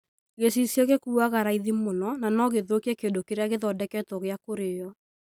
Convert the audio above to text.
Gĩcicio gĩkuaga raithi mũno na no gĩthũkie kĩndũ kĩrĩa kĩrathondekwo gĩa kũrĩĩo.